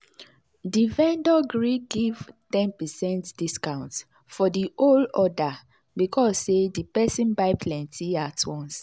the vendor gree give ten percent discount for the whole order because say the person buy plenty at once.